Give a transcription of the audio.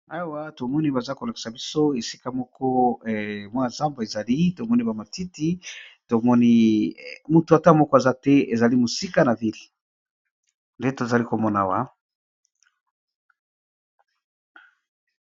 Awa namoni bazali kolakisa biso, esika moko pe tomoni zamba moko ya munene